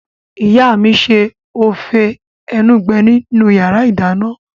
Ìyá mi n ṣe ófé enugbe nínu yàrá -ìdáná